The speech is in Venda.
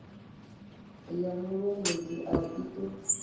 ya mulondoti a i ṱo